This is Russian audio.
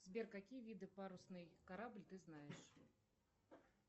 сбер какие виды парусный корабль ты знаешь